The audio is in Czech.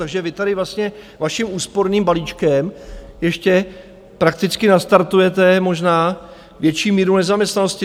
Takže vy tady vlastně vaším úsporným balíčkem ještě prakticky nastartujete možná větší míru nezaměstnanosti.